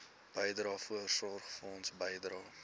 bydrae voorsorgfonds bydrae